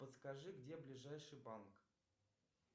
подскажи где ближайший банк